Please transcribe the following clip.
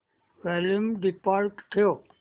volume default ठेव